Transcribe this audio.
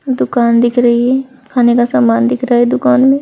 दुकान दिख रही है खाने का समान दिख रहा है दुकान में।